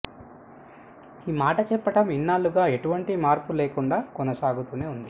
ఈ మాట చెప్పటం ఇన్నేళ్లుగా ఎటువంటి మార్పు లేకుండా కొనసాగుతూనే ఉంది